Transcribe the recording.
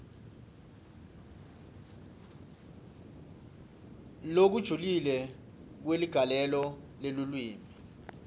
lokujulile kweligalelo lelulwimi